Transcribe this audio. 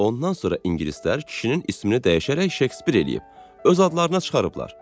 Ondan sonra ingilislər kişinin ismini dəyişərək Şekspir eləyib, öz adlarına çıxarıblar.